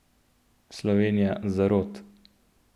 Slovenija zarot?